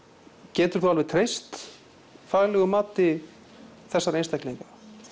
geturðu þá alveg treyst faglegu mati þessara einstaklinga